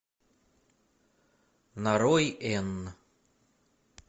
нарой энн